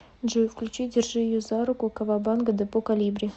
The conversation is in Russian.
джой включи держи ее за руку кавабанга депо колибри